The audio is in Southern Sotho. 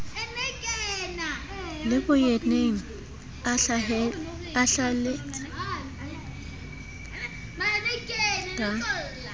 le boyeneng a hlaheletse ka